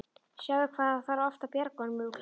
Sjáðu hvað það þarf oft að bjarga honum úr klípu.